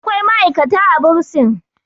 akwai ma'aikata a bursin